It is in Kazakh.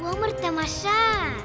өмір тамаша